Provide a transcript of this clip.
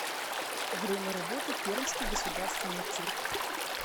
время работы пермский государственный цирк